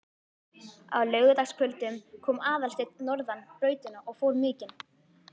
Á laugardagskvöldum kom Aðalsteinn norðan brautina og fór mikinn.